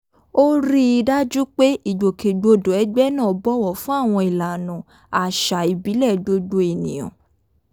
ó rí i dájú pé ìgbòkègbodò ẹgbẹ́ náà bọ̀wọ̀ fún àwọn ìlànà àṣà ìbílẹ̀ gbogbo ènìyàn